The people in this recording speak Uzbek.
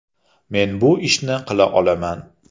Men bu ishni qila olaman.